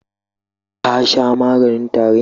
Ka sha maganin tarin?